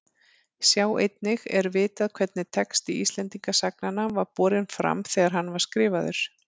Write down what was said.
Sjá einnig Er vitað hvernig texti Íslendingasagnanna var borinn fram þegar hann var skrifaður?